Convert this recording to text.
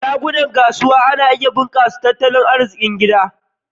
Shagunan kasuwa na iya bunkasa tat talon arzikin gida.